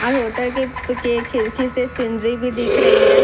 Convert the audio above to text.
आ hotel के के खिड़की से सिनरी भी दिख दे रही है।